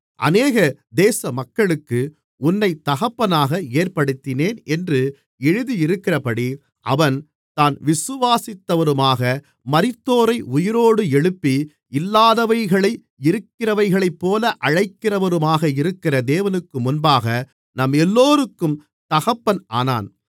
அநேக தேசமக்களுக்கு உன்னைத் தகப்பனாக ஏற்படுத்தினேன் என்று எழுதியிருக்கிறபடி அவன் தான் விசுவாசித்தவருமாக மரித்தோரை உயிரோடு எழுப்பி இல்லாதவைகளை இருக்கிறவைகளைப்போல அழைக்கிறவருமாக இருக்கிற தேவனுக்குமுன்பாக நம்மெல்லோருக்கும் தகப்பன் ஆனான்